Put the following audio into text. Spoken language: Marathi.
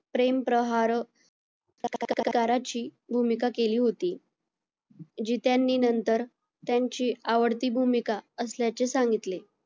प्रेमप्रहार काराची भूमिका केली होती. जी त्यांनी नंतर त्यांची आवडती भूमिका असल्याचे सांगितले.